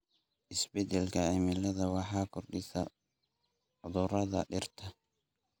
Isbeddelka cimiladu waxay kordhisay cudurrada dhirta.